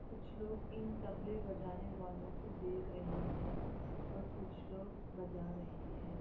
कुछ लोग इन तबले बजाने वालों को देख रहे है और कुछ लोग बजा रहे है।